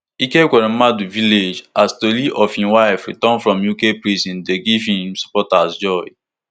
ike ekweremadu village as tori of im wife return from uk prison dey give give im supporters joy